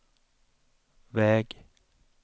väg